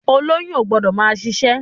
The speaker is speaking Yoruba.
Olóyún o gbọ́dọ̀ máa ṣiṣẹ́ jù.